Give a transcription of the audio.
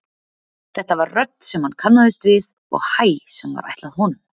Þetta var rödd sem hann kannaðist við og hæ sem var ætlað honum.